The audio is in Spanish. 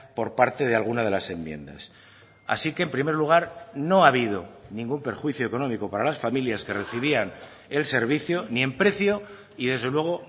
por parte de alguna de las enmiendas así que en primer lugar no ha habido ningún perjuicio económico para las familias que recibían el servicio ni en precio y desde luego